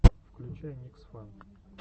включай никсфан